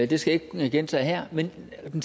det skal jeg ikke gentage her men den